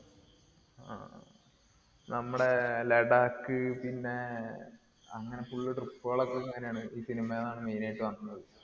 ആ. നമ്മടെ ലഡാക്ക് പിന്നെ അങ്ങിനെ full trip ആണ് ഈ cinema ന്നാണ് main ആയിട്ട് വന്നദ്.